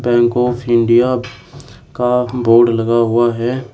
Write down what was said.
Bank of India का board लगा हुआ है।